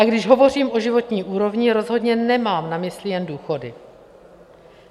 A když hovořím o životní úrovni, rozhodně nemám na mysli jen důchody.